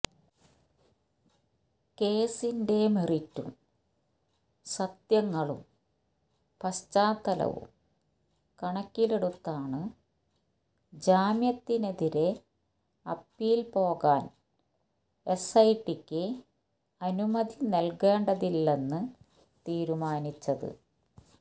കേസിന്റെ മെറിറ്റും സത്യങ്ങളും പശ്ചാത്തലവും കണക്കിലെടുത്താണ് ജാമ്യത്തിനെതിരെ അപ്പീല് പോകാന് എസ് ഐ ടിക്ക് അനുമതി നല്കേണ്ടതില്ലെന്ന് തീരുമാനിച്ചത്